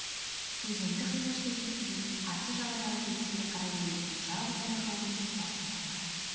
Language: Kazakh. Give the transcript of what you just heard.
өзенді қиғаштай кесіп өтіп қарсы жағадағы белеске қарай өрлеген жалғыз аяқ жолдың сұлбасын байқадым